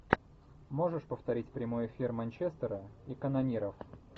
можешь повторить прямой эфир манчестера и канониров